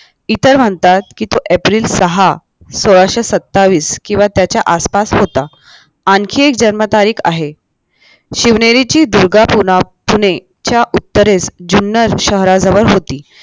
इतर म्हणता की तो एप्रिल सहा सोळाशे सत्तावीस किंवा त्याच्या आसपास होता आणखीन एक जन्मतारीख आहे शिवनेरीची दुर्गा पुना पुणे च्या उत्तरेस जुन्नर शहराजवळ होती